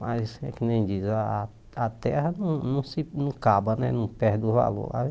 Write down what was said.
Mas é que nem diz, a a a terra não não se acaba né, não perde o valor. Aí